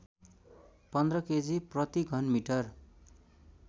१५ KG प्रतिघनमिटर